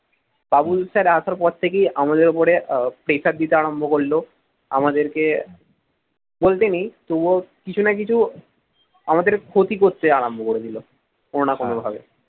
বাবু sir আসার পর থেকেই আমাদের ওপরে pressure দিতে আরম্ভ করলো, আমাদেরকে বলতে নেই তবুও কিছু না কিছু আমাদের ক্ষতি করতে আরম্ভ করে দিল। কোনো না কোনো ভাবে